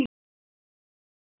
Jón stóð upp og mælti